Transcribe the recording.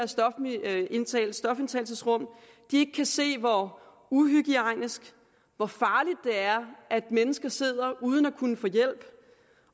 stofindtagelsesrum ikke kan se hvor uhygiejnisk og farligt det er at mennesker sidder uden at kunne få hjælp